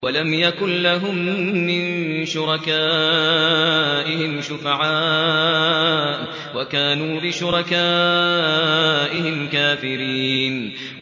وَلَمْ يَكُن لَّهُم مِّن شُرَكَائِهِمْ شُفَعَاءُ وَكَانُوا بِشُرَكَائِهِمْ كَافِرِينَ